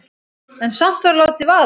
En samt var látið vaða.